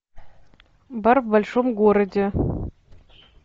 бар в большом городе